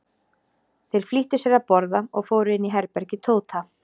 Þeir flýttu sér að borða og fóru inn í herbergi Tóta.